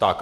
Tak.